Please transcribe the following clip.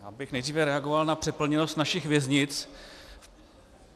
Já bych nejdříve reagoval na přeplněnost našich věznic.